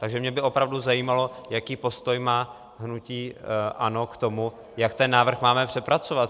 Takže mě by opravdu zajímalo, jaký postoj má hnutí ANO k tomu, jak ten návrh máme přepracovat.